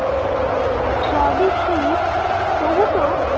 সবই ঠিক তবু তো